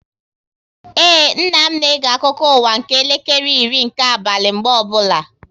Ee, nna m na-ege akụkọ ụwa nke elekere iri nke abalị mgbe ọbụla